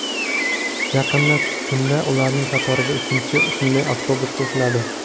Yaqin kunda ularning qatoriga uchinchi shunday avtobus qo‘shiladi.